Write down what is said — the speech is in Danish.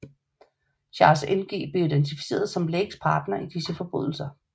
Charles Ng blev identificeret som Lakes partner i disse forbrydelser